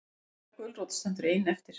Gedda gulrót stendur ein eftir.